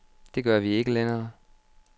Det gør vi ikke længere.